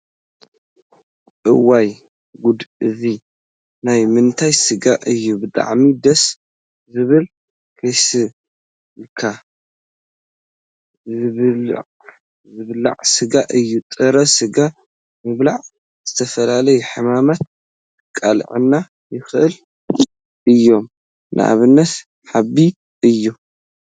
እዋይ! ጉድ እዚ ናይ ምንታይ ስጋ እዩ ብጣዕሚ ደስ ዝብል ከይብሰልካ ዝብልዕ ስጋ እዩ። ጥረ ስጋ ምብላዕ ንዝተፈላለዩ ሕማማት ከቃልዑና ይክእሉ እዮም። ንኣብነት፦ ሓቢ እዩ።